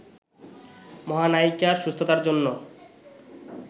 মহানায়িকার সুস্থতার জন্য